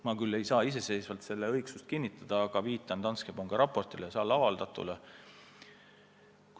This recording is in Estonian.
Mina küll ei saa siin selle õigsust kinnitada, aga ma viitan Danske panga raportis avaldatule.